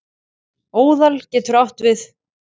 Óðal getur átt við